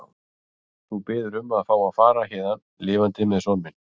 Þú biður um að fá að fara héðan lifandi með son minn.